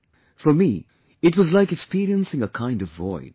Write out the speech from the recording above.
' For me, it was like experiencing a kind of void